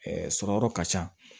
sɔrɔyɔrɔ ka ca